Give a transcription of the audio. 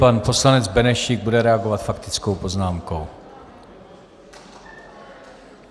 Pan poslanec Benešík bude reagovat faktickou poznámkou.